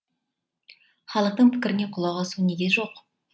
халықтың пікіріне құлақ асу неге жоқ